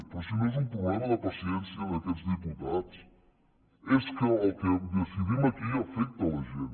però si no és un problema de paciència d’aquests diputats és que el que decidim aquí afecta la gent